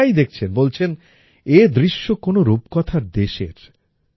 যাঁরাই দেখছেন বলছেন এই দৃশ্য কোনো রূপকথার দেশের